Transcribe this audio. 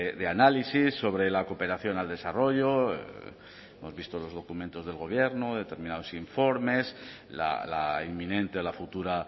de análisis sobre la cooperación al desarrollo hemos visto en los documentos del gobierno determinados informes la inminente la futura